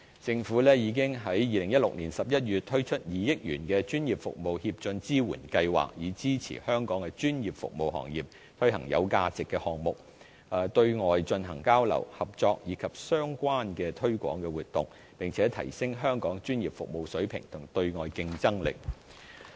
政府已於2016年11月推出2億元的專業服務協進支援計劃，以支持香港專業服務行業推行有價值的項目，對外進行交流、合作，以及相關的推廣活動，並提升香港專業服務水平及對外競爭力。